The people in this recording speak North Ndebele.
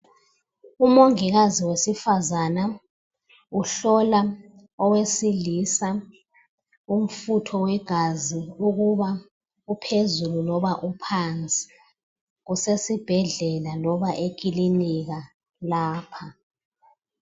Umongikazi wesifazana uhlola owesilisa umfutho wegazi ukuba uphezulu loba uphansi kusesibhedlela loba eclinika lapha